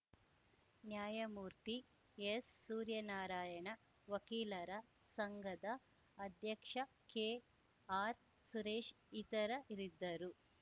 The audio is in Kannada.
ನ್ಯಾಯಮೂರ್ತಿಎಸ್‌ಸೂರ್ಯನಾರಾಯಣ ವಕೀಲರ ಸಂಘದ ಅಧ್ಯಕ್ಷ ಕೆಆರ್‌ಸುರೇಶ್‌ ಇತರರಿದ್ದರು